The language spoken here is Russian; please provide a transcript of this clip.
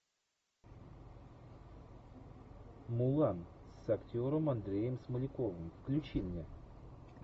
мулан с актером андреем смоляковым включи мне